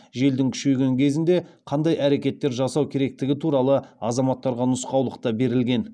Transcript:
желдің күшейген кезінде қандай әрекеттер жасау керектігі туралы азаматтарға нұсқаулық та берілген